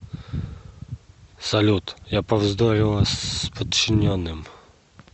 салют я повздорила с подчиненным